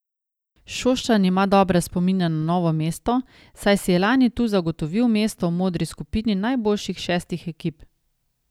Šoštanj ima dobre spomine na Novo mesto, saj si je lani tu zagotovil mesto v modri skupini najboljših šestih ekip.